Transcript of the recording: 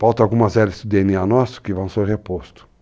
Falta algumas hélices do DNA nosso que vão ser repostos.